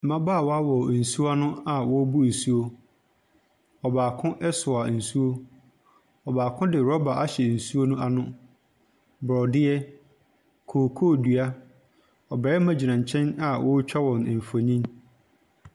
Mmabaawa wɔ nsuo ano a wɔbu nsuo. Ɔbaako ɛsoa nsuo, ɔbaako de rɔba hyɛ nsuo no ano. Borɔdeɛ, kokoo dua, Ɔbɛma gyina nkyɛn s wɔtwa wɔn mfonyin.